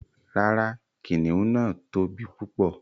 Ràrá, kìnnìún náà tó bí púpọ̀